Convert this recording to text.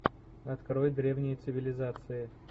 открой древние цивилизации